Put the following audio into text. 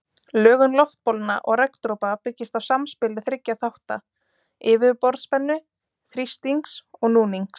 Lögun loftbólna og regndropa byggist á samspili þriggja þátta, yfirborðsspennu, þrýstings og núnings.